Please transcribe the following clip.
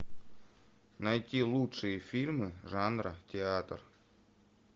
найти лучшие фильмы жанра театр